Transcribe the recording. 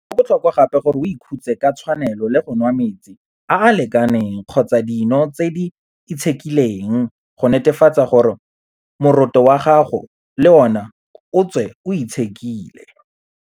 Go botlhokwa gape gore o ikhutse ka tshwanelo le go nwa metsi a a lekaneng kgotsa dino tse di itshekileng go netefatsa gore moroto wa gago le ona o tswe o itshekile.